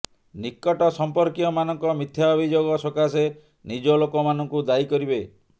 ନିକଟ ସମ୍ପର୍କୀୟମାନଙ୍କ ମିଥ୍ୟା ଅଭିଯୋଗ ସକାଶେ ନିଜ ଲୋକ ମାନଙ୍କୁ ଦାୟୀ କରିବେ